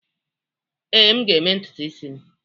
Ee, m ga-eme ntutu isi m.